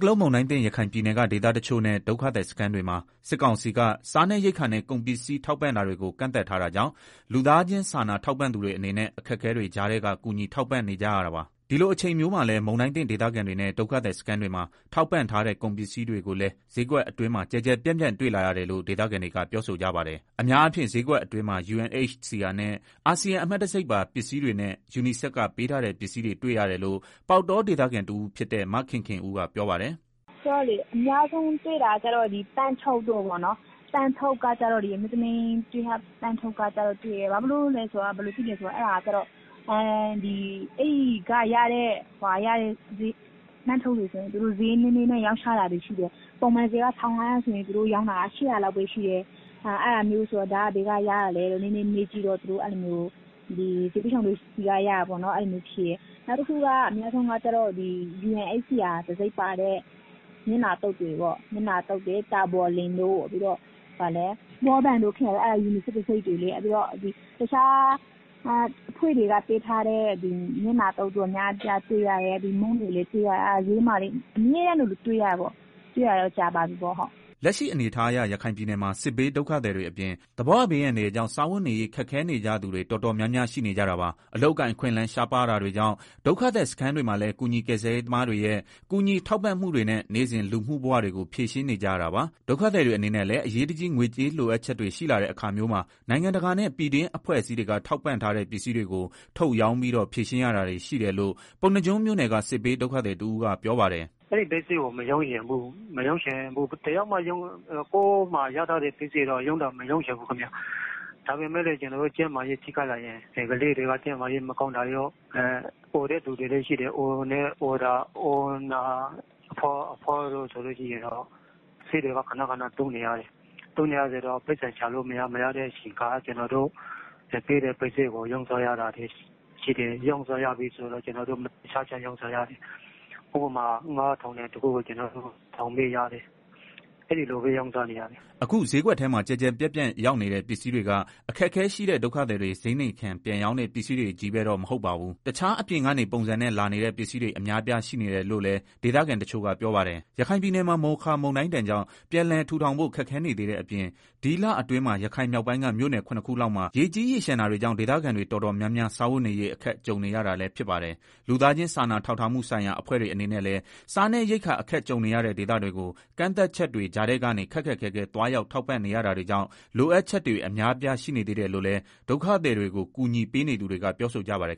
ကလုန်း မိုင်းဒဏ်သင့် ရခိုင်ပြည်နယ်က ဒေသတချို့နဲ့ ဒုက္ခသည်စခန်းတွေမှာ စစ်ကောင်စီက စားနပ်ရိက္ခာနဲ့ ကုန်ပစ္စည်း ထောက်ပံ့တာတွေကို ကန့်သတ်ထားတာကြောင့် လူသားချင်စားနာ ထောက်ပံ့သူတွေအနေနဲ့ အခက်အခဲတွေကြားထဲက ကူညီထောက်ပံ့ နေကြရတာပါ။ ဒီလိုအချိန်မျိုးမှာလည်း မုန်တိုင်းသင့်ဒေသခံတွေနဲ့ ဒုက္ခသည်စခန်းတွေမှာ ထောက်ပံ့ထားတဲ့ ကုန်ပစ္စည်းတွေကိုလည်း စျေးကွက်အတွင်းမှာ ကျယ်ကျယ်ပြန့်ပြန့် တွေ့လာရတယ်လို့ ဒေသခံတွေက ပြောဆိုကြပါတယ်။ အများအားဖြင့် စျေးကွက်အတွင်းမှာ UNHCR နဲ့ အာဆီယံ အမှတ်တံဆိပ်ပါ ပစ္စည်းတွေနဲ့ UNICEF ကပေးထားတဲ့ ပစ္စည်းတွေ တွေ့ရတယ်လို့ ပေါက်တောဒေသခံတဦးဖြစ်တဲ့ မခင်ခင်ဦး ကပြောပါတယ်။ “အများဆုံးတွေ့ရတာကတော့ အမျိုးသမီး လစဉ်သုံးပစ္စည်းတွေ။ အဲတာက ဘယ်လိုလဲဆိုတော့ အဲဒီကရတဲ့ အမျိုးသမီး လစဉ်သုံး အထုပ်တွေဆိုရင် စျေးနည်းနည်းနဲ့ ရောင်းချတာတွေ ရှိတယ်။ ပုံမှန်စျေးက ၁,၅ဝဝ ဆိုရင် သူတို့ ရောင်းတာက ၈ဝဝ လောက်ပဲ ရှိတယ်။ ဒါ ဘယ်က ရတာလဲလို့ မေးကြည့်တော့ ဒုက္ခသည်ဆီက ရတာပေါ့နော်။ အဲလိုမျိုး ပြောတယ်။ နောက်တခုက UNHCR တံဆိပ်ပါတဲ့ မျက်နှာသုတ်တွေ၊ တာဘော်လိပ်တို့ ဘောပင်တို့ ခဲတံတို့ အဲ့ဒါက UNICEF တံဆိပ်တွေလေ။ တခြား အဖွဲ့တွေက ပေးထားတဲ့ မျက်နှာသုတ် အတော်များများလည်း တွေ့ ရတယ်။ နောက် မုန့်တွေလည်း တွေ့ရတယ်။ စျေးတွေမှာ အမြဲတမ်းလိုလို တွေ့ရတယ်။ တွေ့တာလည်း ကြာပြီပေါ့ဟုတ်။” လက်ရှိအနေအထားအရ ရခိုင်ပြည်နယ်မှာ စစ်ဘေး ဒုက္ခသည်တွေအပြင် သဘာဝဘေး အန္တရာယ်ကြောင့် စားဝတ်နေရေး ခက်ခဲနေကြသူတွေ တော်တော်များများ ရှိနေကြတာပါ။ အလုပ်အကိုင် အခွင့်အလမ်း ရှားပါးတာတွေကြောင့် ဒုက္ခသည်စခန်းတွေမှာလည်း ကူညီ ကယ်ဆယ်ရေး သမားတွေရဲ့ ကူညီထောက်ပံ့မှုတွေနဲ့ နေ့စဉ် လူမှုဘဝတွေကို ဖြေရှင်းနေကြရတာပါ။ ဒုက္ခသည်တွေအနေနဲ့လည်း အရေးတကြီး ငွေကြေး လိုအပ်ချက်တွေ ရှိလာတဲ့ အခါမျိုးမှာ နိုင်ငံတကာနဲ့ ပြည်တွင်းအဖွဲ့ အစည်းတွေက ထောက်ပံ့ထားတဲ့ ပစ္စည်းတွေကို ထုတ်ရောင်းပြီးတော့ ဖြေရှင်းရတာတွေ ရှိတယ်လို့ ပုဏ္ဏားကျွန်းမြို့နယ်က စစ်ဘေး ဒုက္ခသည်တဦးက ပြောပါတယ်။ “အဲ့ဒီပစ္စည်းကို မရောင်းချင်ဘူး။ ဘယ်သူမှ ကိုယ့်မှာ ရထားတဲ့ ပစ္စည်းကို မရောင်းချင်ဘူး ခင်မျာ။ ဒါပေမဲ့ ကျနော်တို့ ကျန်းမာရေး ထိခိုက်လာရင် ကလေးတွေက ကျန်းမာရေး မကောင်းတာရော အိုနေတဲ့ သူတွေကလည်း ဆေးတွေက ခဏခဏ သုံးနေရတယ်။ ပိုက်ဆံက ရှာလို့ မရတဲ့ အခါ ကျနော်တို့ ပေးထားတဲ့ ပစ္စည်းတွေကို ရောင်းစားရ တာရှိတယ်။ ရောင်းတဲ့အခါမှာလည်း မတန်တဆစျေးနဲ့ ရောင်းရတယ်။ ဥပမာ ၅,ဝဝဝ တန်တဲ့ ပစ္စည်းတခုကို ကျနော်တို့ ၁,၀၀၀ ပဲရတယ်။ အဲဒီလိုပဲ ရောင်းစားနေရတယ်။” အခုဈေးကွက်ထဲမှာ ကျယ်ကျယ်ပြန့်ပြန့် ရောက်နေတဲ့ ပစ္စည်းတွေက အခက်အခဲရှိတဲ့ ဒုက္ခသည်တွေ ဈေးနှိမ်ခံ ပြန်ရောင်းတဲ့ ပစ္စည်းတွေချည်းပဲတော့ မဟုတ်ပါဘူး။ တခြား အပြင်ကနေ ပုံစံနဲ့ လာနေတဲ့ ပစ္စည်းတွေ အများအပြား ရှိနေတယ်လို့လည်း ဒေသခံတချို့က ပြောပါတယ်။ ရခိုင်ပြည်နယ်မှာ မိုခါမုန်တိုင်းကြောင့် ပြန်လည် ထူထောင်ဖို့ ခက်ခဲနေသေးတဲ့ အပြင် ဒီလအတွင်းမှာ ရခိုင်မြောက်ပိုင်းက မြို့နယ် ၇ ခုလောက်မှာ ရေကြီးရေလျှံတာတွေကြောင့် ဒေသခံတွေ တော်တော်များများ စားဝတ်နေရေး အခက်ကြုံနေရတာလည်း ဖြစ်ပါတယ်။ လူသားချင်း စာနာထောက်ထားမှုဆိုင်ရာ အဖွဲ့တွေ အနေနဲ့လည်း စားနပ်ရိက္ခာ အခက်ကြုံနေရတဲ့ ဒေသတွေကို ကန့်သတ်ချက်တွေ ကြားထဲကနေ ခက်ခက်ခဲခဲ သွားရောက် ထောက်ပံ့နေရတာကြောင့် လိုအပ်ချက်တွေ အများအပြား ရှိနေသေးတယ်လို့လည်း ဒုက္ခသည်တွေကို ကူညီပေးနေသူတွေက ပြောဆိုကြပါတယ်